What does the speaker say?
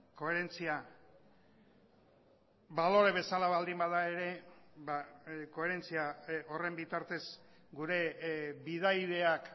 koherentzia balore bezala baldin bada ere ba koherentzia horren bitartez gure bidaideak